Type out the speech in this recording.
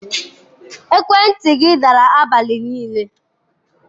Ekwentị gị dara abalị niile.